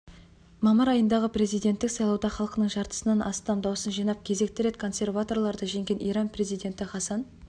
мамыр айындағы президенттік сайлауда халқының жартысынан астам дауысын жинап кезекті рет консерваторларды жеңген иран президенті хасан